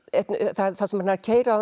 þar sem hann er að keyra